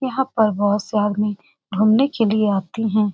यहाँ पर बहुत से आदमी घुमने के लिए आते हैं ।